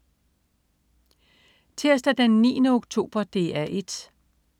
Tirsdag den 9. oktober - DR 1: